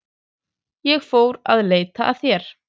Ég fór að leita að þér.